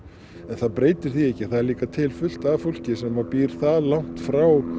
en það breytir því ekki að það er auðvitað líka til fullt af fólki sem býr það langt frá